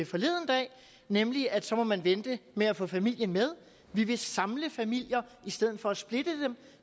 forleden dag nemlig at så må man vente med at få familien med vi vil samle familier i stedet for at splitte dem